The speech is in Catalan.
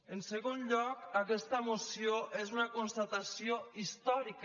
en segon lloc aquesta moció és una constatació històrica